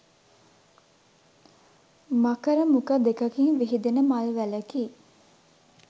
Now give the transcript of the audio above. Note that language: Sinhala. මකර මුඛ දෙකකින් විහිදෙන මල් වැලකි.